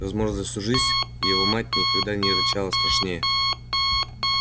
возможно за всю жизнь его мать никогда не рычала страшнее